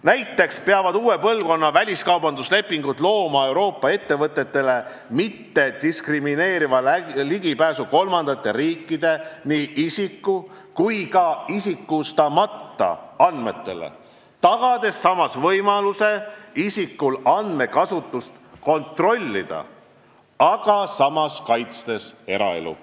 Näiteks peavad uue põlvkonna vabakaubanduslepingud looma Euroopa ettevõtetele mittediskrimineeriva ligipääsu kolmandate riikide nii isiku- kui ka isikustamata andmetele, tagades samas isikule võimaluse andmekasutust kontrollida, aga samas kaitstes eraelu.